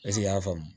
Eseke i y'a faamu